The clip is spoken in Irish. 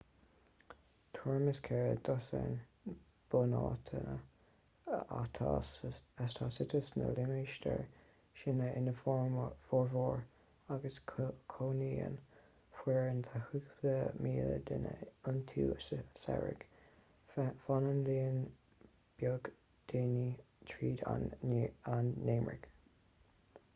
tuairim is ceithre dosaen bunáiteanna atá suite sna limistéir sin ina bhformhór agus cónaíonn foireann de chúpla míle duine iontu sa samhradh fanann líon beag daoine tríd an ngeimhreadh